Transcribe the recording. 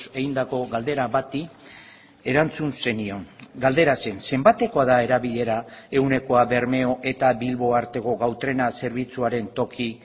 egindako galdera bati erantzun zenion galdera zen zenbatekoa da erabilera ehunekoa bermeo eta bilbo arteko gau trena zerbitzuaren toki